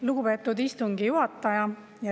Lugupeetud istungi juhataja!